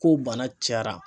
Ko bana cayara.